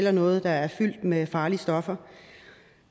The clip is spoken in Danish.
er noget der er fyldt med farlige stoffer